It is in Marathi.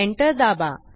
एंटर दाबा